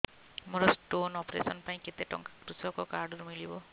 ମୋର stone operation ପାଇଁ କେତେ ଟଙ୍କା କୃଷକ କାର୍ଡ ରୁ ମିଳିବ